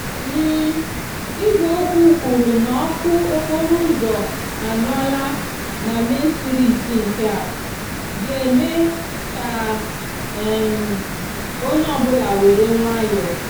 igwe okwu kwuru na òku okporo úzó anyúòla na main stiriti nkea ga eme ka um onye òbúla were nwayòò.